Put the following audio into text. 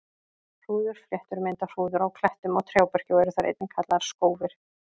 Hrúðurfléttur mynda hrúður á klettum og trjáberki og eru þær einnig kallaðar skófir.